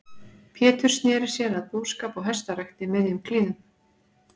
Pétur sneri sér að búskap og hestarækt í miðjum klíðum.